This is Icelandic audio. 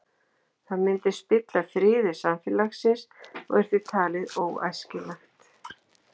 Það myndi spilla friði samfélagsins og er því talið óæskilegt.